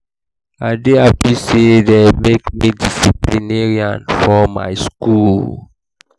i dey happy say dey make me disciplinarian for my school